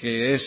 que es